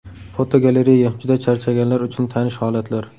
Fotogalereya: Juda charchaganlar uchun tanish holatlar.